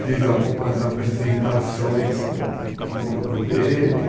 Fiz algumas apresentações com com o grupo dele.